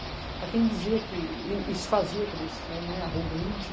Para quem dizia que, e e se fazia, quer dizer, né, arrogante.